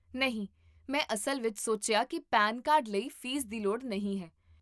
ਨਹੀਂ, ਮੈਂ ਅਸਲ ਵਿੱਚ ਸੋਚਿਆ ਕਿ ਪੈਨ ਕਾਰਡ ਲਈ ਫ਼ੀਸ ਦੀ ਲੋੜ ਨਹੀਂ ਹੈ